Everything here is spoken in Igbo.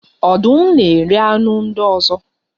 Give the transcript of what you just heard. Ọdụm na-eri anụ ndị ọzọ